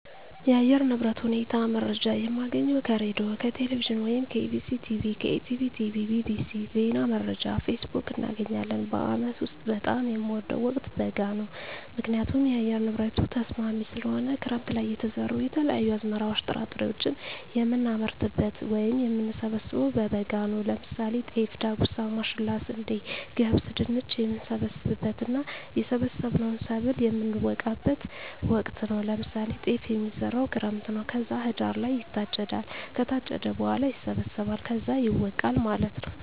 የአየር ንብረት ሁኔታ መረጃ የምናገኘው ከሬድዬ፣ ከቴሌቪዥን ወይም ከEBctv፣ ከETB tv፣ bbc፣ ዜና መረጃ፣ ፌስቡክ፣ እናገኛለን። በአመት ውስጥ በጣም የምወደው ወቅት በጋ ነው ምክንያቱም የአየር ንብረቱ ተስማሚ ስለሆነ፣ ክረምት ለይ የተዘሩ የተለያዩ አዝመራዎች ጥራጥሬዎችን የምናመርትበት ወይም የምንሰብበው በበጋ ነው ለምሳሌ ጤፍ፣ ዳጉሳ፣ ማሽላ፣ ስንዴ፣ ገብስ፣ ድንች፣ የምንሰበስብበት እና የሰበሰብነውን ሰብል የምነወቃበት ወቅት ነው ለምሳሌ ጤፍ የሚዘራው ክረምት ነው ከዛ ህዳር ላይ ይታጨዳል ከታጨደ በኋላ ይሰበሰባል ከዛ ይወቃል ማለት ነው።